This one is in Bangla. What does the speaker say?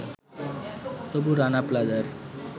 তবু রানা প্লাজার